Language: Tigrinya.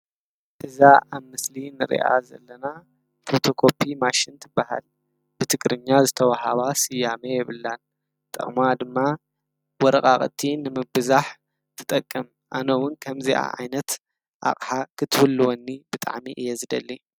እዛ ኣብ ምስሊ እንሪኣ ዘለና ፎቶ ኮፒ ማሽን ትባሃል፡፡ ብትግርኛ ዝተወሃባ ስያሜ የብላን፡፡ ጥቅማ ድማ ወረቃቅቲ ንምብዛሕ ትጠቅም፡፡ ኣነ እውን ከምዚኣ ዓይነት ኣቅሓ ክትህልወኒ ብጣዕሚ እየ ዝደሊ፡፡